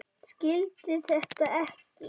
Skildi þetta ekki.